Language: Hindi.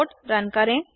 कोड रन करें